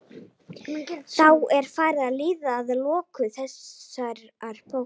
Þá er farið að líða að lokum þessarar bókar.